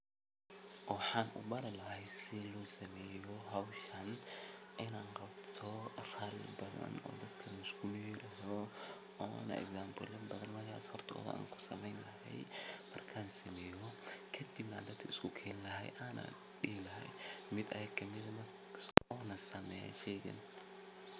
Waxani ubari lahay sida loqabto howshan in an qabto afarin badan oo dadka iskumid yoho ona example ya badan ayad usameyni lahay markan sameyo ayan dadka iskukeni lahay ana dihi lahay mid ayaga kamid ah ona sameyo shega.